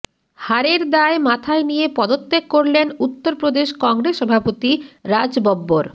হারের দায় মাথায় নিয়ে পদত্যাগ করলেন উত্তর প্রদেশ কংগ্রেস সভাপতি রাজ বব্বর